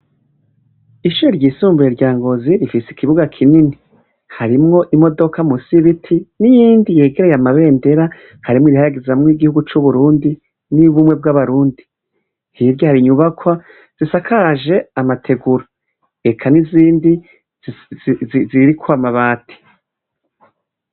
Ishure ryisumbuye rya Ngozi rifise ikibuga kinini. Harimwo imodoka munsi y'ibiti, n'iyindi yegereye amabendera harimwo irihayagizamwo igihugu c'uburundi n'iy'ubumwe bw'abarundi. Hirya hari inyubakwa zisakaje amategura. Eka n'izindi ziriko amabati.